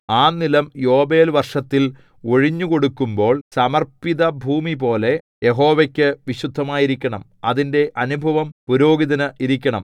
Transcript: ആ നിലം യൊബേൽവർഷത്തിൽ ഒഴിഞ്ഞുകൊടുക്കുമ്പോൾ സമർപ്പിതഭൂമിപോലെ യഹോവയ്ക്കു വിശുദ്ധമായിരിക്കണം അതിന്റെ അനുഭവം പുരോഹിതന് ഇരിക്കണം